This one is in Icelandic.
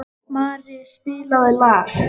Mari, spilaðu lag.